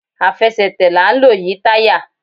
Àfẹsẹ̀tẹ̀ la n lò yi tayá